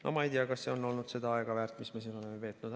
No ma ei tea, kas see on olnud väärt seda aega, mis me siin oleme veetnud.